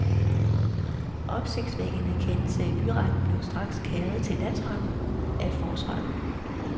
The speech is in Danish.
Opsigtsvækkende kendelse i byretten blev straks kæret til landsretten af forsvareren.